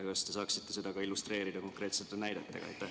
Kas te saaksite seda illustreerida konkreetsete näidetega?